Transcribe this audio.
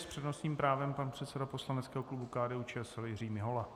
S přednostním právem pan předseda poslaneckého klubu KDU-ČSL Jiří Mihola.